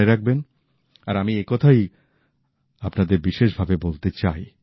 মনে রাখবেন আর আমি এ কথাই আপনাদের বিশেষ ভাবে বলতে চাই